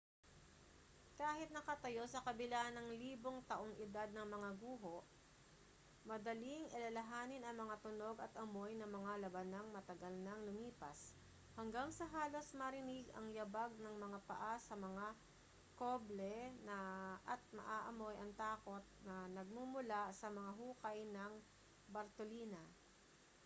kahit nakatayo sa kabila ng libong taong edad na mga guho madaling alalahanin ang mga tunog at amoy ng mga labanang matagal nang lumipas hanggang sa halos marinig ang yabag ng mga paa sa mga cobble at maamoy ang takot na nagmumula sa mga hukay ng bartolina